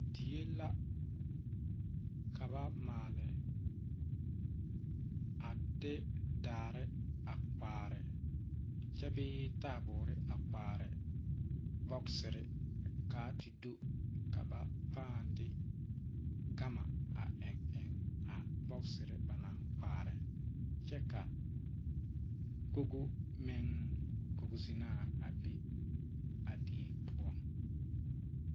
Die la ka ba maale a de daare a kpaare kyɛ bee taaboore a kpaare bɔgserre kaa te do ka ba pãã de gama a eŋ eŋ a bɔgserre ba naŋ kpaare kyɛ kaa kogo meŋ kogo zinaa a biŋ a die poɔ.